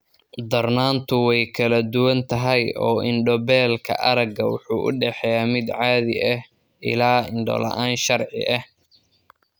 Darnaantu way kala duwan tahay oo indho-beelka aragga wuxuu u dhexeeyaa mid caadi ah ilaa indho la'aan sharci ah.